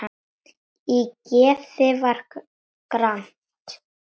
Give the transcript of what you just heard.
Í geði var gramt.